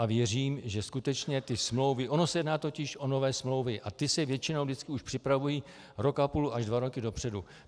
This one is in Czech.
A věřím, že skutečně ty smlouvy - ono se jedná totiž o nové smlouvy a ty se většinou vždycky už připravují rok a půl až dva roky dopředu.